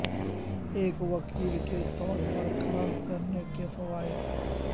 ایک وکیل کے طور پر کام کرنے کے فوائد